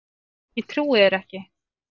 Ég trúi þér ekki!